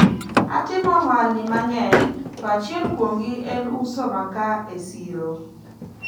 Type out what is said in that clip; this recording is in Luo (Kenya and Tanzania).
atimo ohalni mang'eny to achiel kuomgi en uso makaa e siro